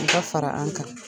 I ka fara an kan.